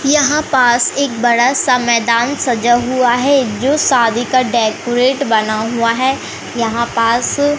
यहां पास एक बड़ा सा मैदान सजा हुआ है जो शादी का डेकोरेट बना हुआ है यहां पास--